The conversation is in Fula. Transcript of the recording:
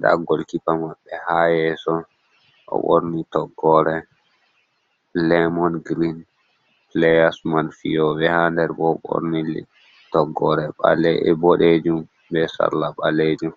da gol kipa maɓɓe ha yeso o borni toggore lemon green players man fiyobe ha nder bo o ɓorni toggore bodejum be sarla ɓalejum.